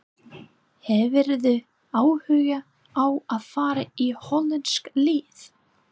Hefðirðu áhuga á að fara í hollenskt lið?